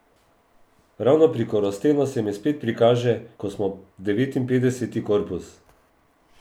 Ravno pri Korostenu se mi spet prikaže, ko smo devetinpetdeseti korpus.